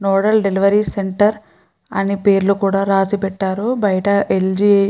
nodal delivery centre అని పేర్లు కూడా రాసిపెట్టారు బయట ఎల్జి --